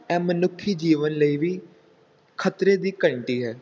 ਇਹ ਮਨੁੱਖੀ ਜੀਵਨ ਲਈ ਵੀ ਖਤਰੇ ਦੀ ਘੰਟੀ ਹੈ।